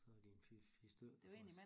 Så er de en 4 4 stykker også